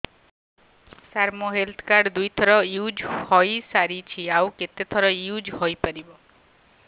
ସାର ମୋ health card ଦୁଇ ଥର ୟୁଜ଼ ହୈ ସାରିଛି ଆଉ କେତେ ଥର ୟୁଜ଼ ହୈ ପାରିବ